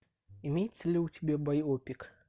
имеется ли у тебя байопик